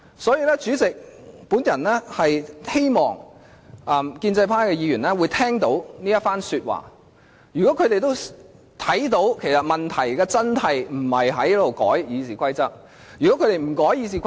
因此，主席，我希望建制派的議員聽到我的發言，會明白問題的關鍵不在於修改《議事規則》。